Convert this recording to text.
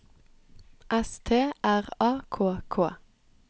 S T R A K K